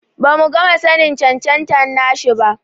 Bamu gama sanin cancanta nashi ba.